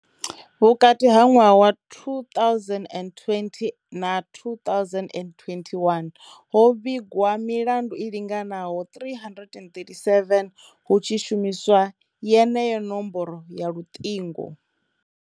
Vhukati ha ṅwaha wa 2020 na 2021, ho vhigwa milandu i linganaho 337 hu tshi shumiswa yeneyo nomboro ya luṱingo.